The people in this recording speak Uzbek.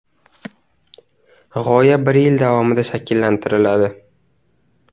G‘oya bir yil davomida shakllantiriladi.